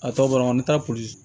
A tɔ banana an bɛ taa polisi